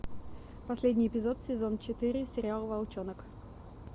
последний эпизод сезон четыре сериал волчонок